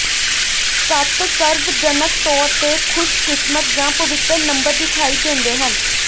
ਸੱਤ ਸਰਵਜਨਕ ਤੌਰ ਤੇ ਖੁਸ਼ਕਿਸਮਤ ਜਾਂ ਪਵਿੱਤਰ ਨੰਬਰ ਦਿਖਾਈ ਦਿੰਦੇ ਹਨ